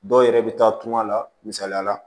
Dɔw yɛrɛ bɛ taa tunga la misaliya la